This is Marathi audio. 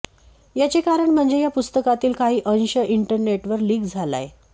याचे कारण म्हणजे या पुस्तकातील काही अंश इंटरनेटवर लीक झालाय